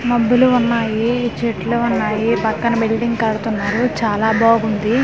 మబ్బులు ఉన్నాయి చెట్లు ఉన్నాయి పక్కన బిల్డింగ్ కడుతున్నారు చాలా బాగుంది.